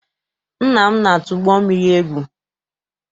Nna m na-atụ ụgbọ mmiri egwu.